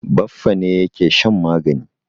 Baffa ne yake shan magani.